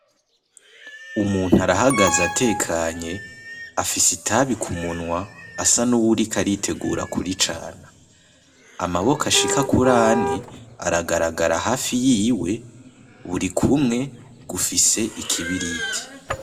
Umuntu arahagaze atekanye afise itabi kumunwa asa nuw’uriko aritegura kuricana. Amaboko ashika kurane aragaragara hafi yiwe burikumwe gufise ikibiriti.